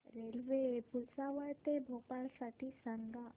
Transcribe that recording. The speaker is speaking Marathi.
रेल्वे भुसावळ ते भोपाळ साठी सांगा